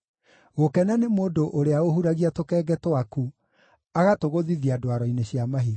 gũkena nĩ mũndũ ũrĩa ũhuragia tũkenge twaku, agatũgũthithia ndwaro-inĩ cia mahiga.